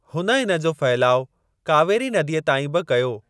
हुन इन जो फहिलाउ कावेरी नदीअ ताईं बि कयो।